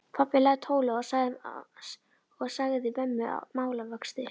Pabbi lagði tólið á og sagði mömmu málavöxtu.